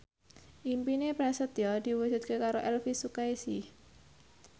impine Prasetyo diwujudke karo Elvy Sukaesih